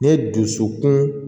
N ye dusukun